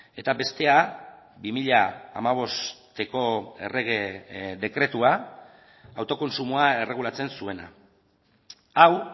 eta bestea bi mila hamabosteko errege dekretua autokontsumoa erregulatzen zuena hau